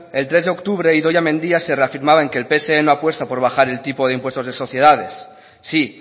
el tres de octubre idoia mendia se reafirmaba de que el pse no apuesta por bajar el tipo de impuesto de sociedades sí